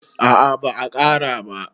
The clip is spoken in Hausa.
a a ba a Kara ba